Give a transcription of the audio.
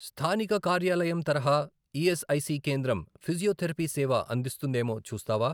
స్థానిక కార్యాలయం తరహా ఈఎస్ఐసి కేంద్రం ఫిజియోథెరపీ సేవ అందిస్తుందేమో చూస్తావా?